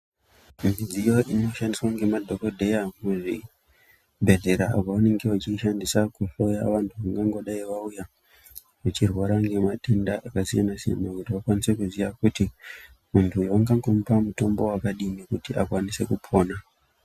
Midziyo inoshandiswa ngemadhogodheya muzvibhedhlera apo vanenge vachiishandisa kuhloya vanhu vangangodai vauya vachirwara nematenda akasiyana-siyana kuti vakwanise kuziya kuti muntu vangangomupa mutombo wakadini kuti akwanise kupona.